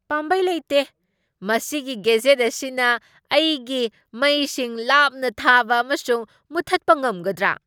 ꯄꯥꯝꯕꯩ ꯂꯩꯇꯦ! ꯃꯁꯤꯒꯤ ꯒꯦꯖꯦꯠ ꯑꯁꯤꯅ ꯑꯩꯒꯤ ꯃꯩꯁꯤꯡ ꯂꯥꯞꯅ ꯊꯥꯕ ꯑꯃꯁꯨꯡ ꯃꯨꯊꯠꯄ ꯉꯝꯒꯗ꯭ꯔꯥ?